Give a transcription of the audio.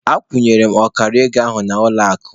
Akwụnyere m ọkara ego ahụ n'ụlọ akụ.